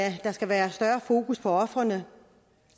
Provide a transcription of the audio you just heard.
at der skal være større fokus på ofrene